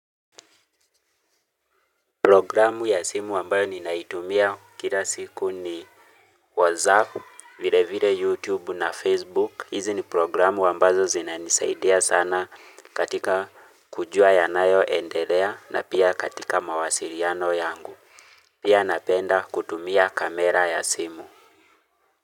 Programu ya simu ambayo nina itumia kila siku ni wazapu, vile vile YouTube na Facebook. Hizi ni programu ambazo zinanisaidia sana katika kujua yanayo endelea na pia katika mawasiliano yangu. Pia napenda kutumia kamera ya simu.